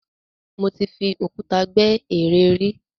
Mo ti fi òkúta gbẹ́ ère rí.